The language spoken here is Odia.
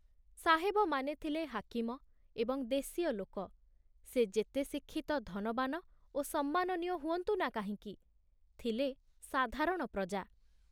ସାହେବମାନେ ଥିଲେ ହାକିମ ଏବଂ ଦେଶୀୟଲୋକ, ସେ ଯେତେ ଶିକ୍ଷିତ ଧନବାନ ଓ ସମ୍ମାନନୀୟ ହୁଅନ୍ତୁ ନା କାହିଁକି, ଥିଲେ ସାଧାରଣ ପ୍ରଜା।